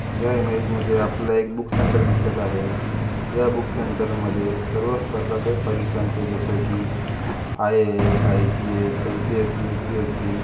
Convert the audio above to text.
या इमेज मध्ये आपल्या एक बूक सेंटर दिसत आहे. या बूक सेंटर मध्ये सर्व स्पर्धादक परीक्षांचे जसे की आय_ए_एस आय_पी_एस एम_पि_एस_सी युपी_एस_सी --